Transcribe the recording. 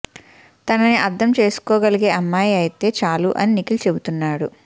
తనని అర్ధం చేసుకోగలిగే అమ్మాయి అయితే చాలు అని నిఖిల్ చెబుతున్నాడు